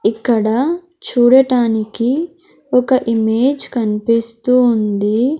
ఇక్కడ చూడటానికి ఒక ఇమేజ్ కన్పిస్తూ ఉంది.